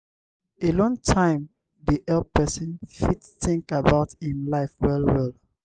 alone time dey help person fit think about im life well well